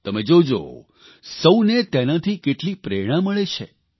તમે જોજો સૌને તેનાથી કેટલી પ્રેરણા મળે છે